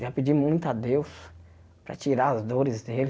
Eu já pedi muito a Deus para tirar as dores dele.